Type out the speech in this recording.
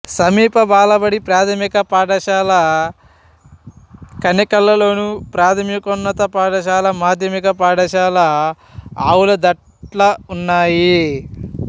సమీప బాలబడి ప్రాథమిక పాఠశాల కనేకల్లోను ప్రాథమికోన్నత పాఠశాల మాధ్యమిక పాఠశాల ఆవులదట్ల ఉన్నాయి